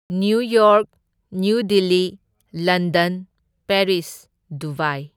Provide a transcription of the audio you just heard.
New York, New Delhi, London, Paris, Dubai.